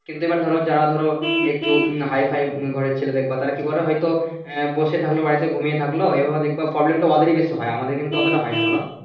কিন্তু এইবার ধরো যারা ধরো একটু হাই ফাই ঘরের ছেলে দেখবা তারা কি করে হয়তো বসে থাকলো হয়তো ঘুমিয়ে থাকলো problem তা ওদের বেশি হয় আমাদের কিন্তু অতটা হয় না বোলো